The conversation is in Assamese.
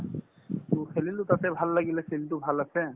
to খেলিলো তাতে ভাল লাগিলে field তো ভাল আছে